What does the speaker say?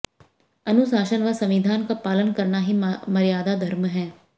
अनुशासन व संविधान का पालन करना ही मर्यादा धर्म है